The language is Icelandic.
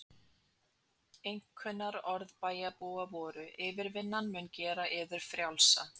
Einkunnarorð bæjarbúa voru: yfirvinnan mun gera yður frjálsa.